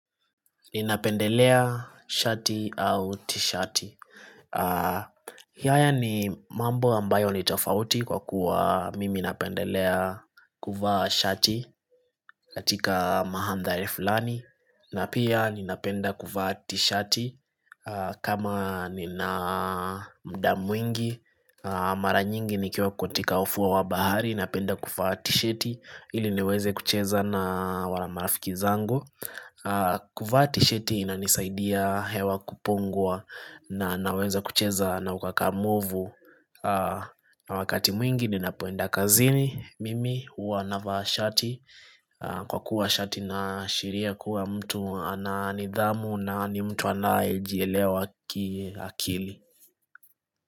Ninapendelea shati au tishati haya ni mambo ambayo ni tofauti kwa kuwa mimi napendelea kuvaa shati katika mahamdhari fulani na pia ninapenda kuvaa tishati kama nina muda mwingi Mara nyingi nikiwa katika ufuo wa bahari Ninapenda kuvaa tishati ili niweze kucheza na wala marafiki zangu Kuvati tisheti inanisaidia hewa kupongwa na naweza kucheza na ukakamovu na wakati mwingi nina poenda kazini Mimi uwa navaa shati Kwa kuwa shati inashiria kuwa mtu ananidhamu na ni mtu anaye jielewa ki akili.